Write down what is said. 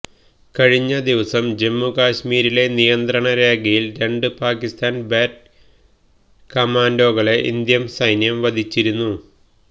കഴിഞ്ഞ ദിവസം ജമ്മുകാശ്മീരിലെ നിയന്ത്രണ രേഖയിൽ രണ്ട് പാകിസ്ഥാൻ ബാറ്റ് കമാൻഡോകളെ ഇന്ത്യൻ സെന്യം വധിച്ചിരുന്നു